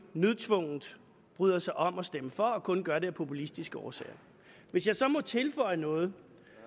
nødtvungent bryder sig om at stemme for og kun gør det af populistiske årsager hvis jeg så må tilføje noget